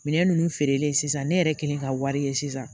Minɛn ninnu feerelen sisan ne yɛrɛ kɛlen ka wari ye sisan